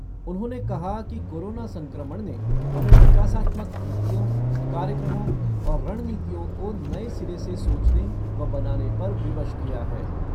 उन्होंने कहा कि कोरोना संक्रमण ने हमें विकासात्मक नीतियों, कार्यक्रमों और रणनीतियों को नए सिरे से सोचने व बनाने पर विवश किया है।